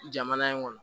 Jamana in kɔnɔ